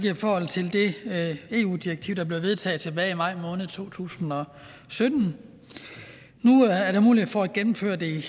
i forhold til det eu direktiv der blev vedtaget tilbage i maj måned to tusind og sytten nu er der mulighed for at gennemføre det